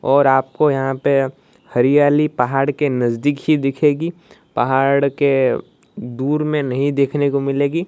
और आपको यहाँ पे हरियाली पहाड़ के नजदिक ही दिखेगी पहाड़ के दूर में नहीं देखने को मिलेगी।